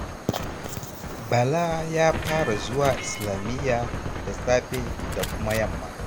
Bala ya fara zuwa Islamiyya da safe da kuma yamma.